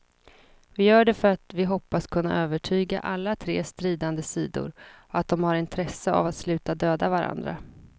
Vi gör det för att vi hoppas kunna övertyga alla tre stridande sidor att de har intresse av att sluta döda varandra.